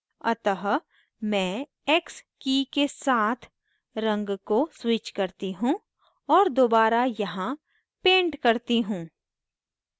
अतः मैं x की के साथ रंग को switch करती हूँ और दोबारा यहाँ paint करती हूँ